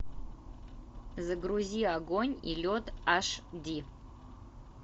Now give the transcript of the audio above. загрузи огонь и лед аш ди